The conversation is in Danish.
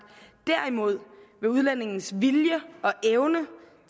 derimod vil udlændingens vilje og evne